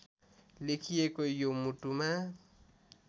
लेखिएको यो मुटुमा